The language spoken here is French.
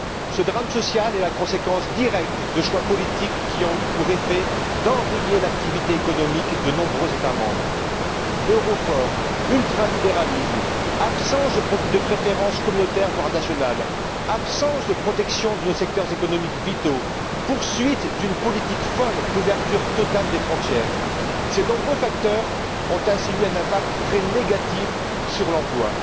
Ce drame social est la conséquence directe de choix politiques qui ont eu pour effet d'enrayer l'activité économique de nombreux États membres euro fort, ultralibéralisme, absence de préférences communautaires, voire nationales, absence de protection de secteurs économiques vitaux, poursuite d'une politique folle d'ouverture totale des frontières. Ces nombreux facteurs ont eu un impact très négatif sur l'emploi.